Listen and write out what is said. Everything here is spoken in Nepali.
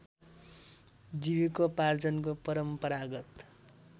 जीविकोपार्जनको परम्परागत